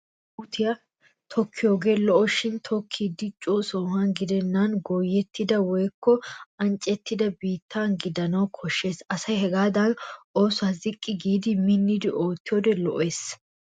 Asay puutiya tokkiyoogee lo'oshin tokkiiddi coo sohuwan gidenna goyettida woykko anccettida biittaana gidana koshshes. Asay hagaadan oosuwa ziqqi giidi minni oottiyode lo'ees.